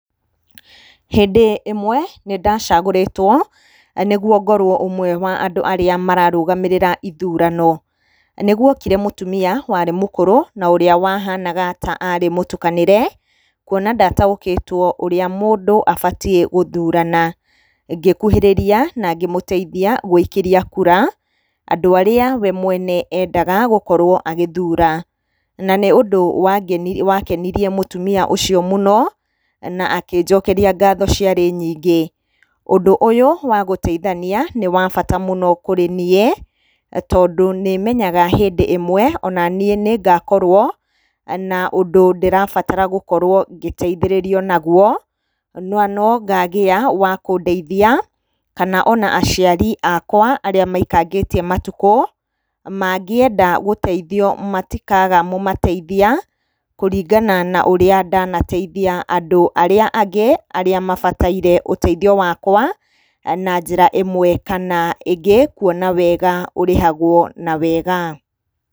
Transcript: Hĩndĩ ĩmwe nĩ ndacagũrĩtwo nĩguo ngorwo ũmwe wa andũ arĩa mararũgamĩrĩra ithurano. Nĩgwokire mũtumia warĩ mũkũrũ na ũrĩa wahanaga ta arĩ mũtukanĩre kuona ndataũkĩtwo ũrĩa mũndũ abatie gũthurana. Ngĩkũhĩrĩria na ngĩmũteithia gũikĩria kura, andũ arĩa we mwene endaga gũkorwo agĩthura. Na nĩ ũndũ wakenirie mũtumia ũcio mũno na akĩnjokeria ngatho ciarĩ nyingĩ. Ũndũ ũyũ wa gũteithania nĩ wa bata mũno kũrĩ niĩ tondũ nĩmenyaga hĩndĩ ĩmwe onaniĩ nĩ ngakorwo na ũndũ ndĩrabatara gũkorwo ngĩteithĩrĩrio naguo na no ngagĩa wa kũndeithia, kana aciari akwa arĩa maikangĩtie matukũ, mangĩenda ũteithio matikaga mũmateithia kũringana na ũrĩa ndanateithia andũ arĩa angĩ arĩa mabataire ũteithio wakwa na njĩra ĩmwe kana ĩngĩ kuona wega ũrĩhagwo na wega.